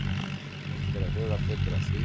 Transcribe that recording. Rétt er að huga betur að því.